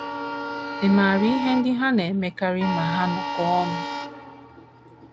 Ị̀ maara ihe ndị ha na - emekarị ma ha nọkọọ ọnụ?